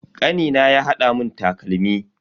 Kanina ya hada mun takalmi.